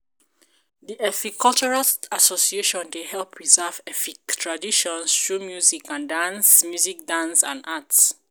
the Efik Cultural Association dey help preserve Efik traditions through music, dance, music, dance, arts